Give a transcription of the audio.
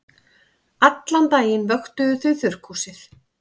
Allan daginn vöktuðu þau þurrkhúsið.